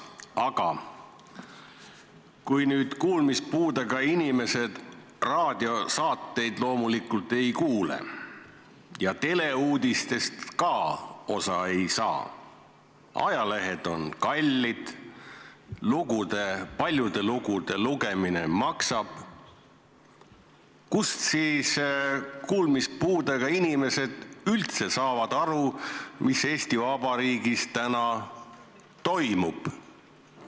Aga kuulmispuudega inimesed raadiosaateid loomulikult ei kuule ja kui nad teleuudistest ka osa ei saa, ajalehed on kallid, paljude lugude lugemine maksab, kuidas siis kuulmispuudega inimesed üldse saavad aru, mis Eesti Vabariigis täna toimub?